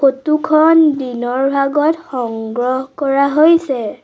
ফটোখন দিনৰ ভাগত সংগ্ৰহ কৰা হৈছে।